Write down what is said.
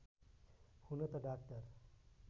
हुन त डाक्टर